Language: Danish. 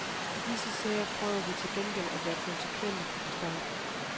I disse sager prøver vi til gengæld at være konsekvente fra starten.